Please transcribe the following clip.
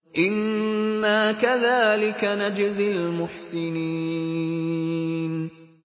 إِنَّا كَذَٰلِكَ نَجْزِي الْمُحْسِنِينَ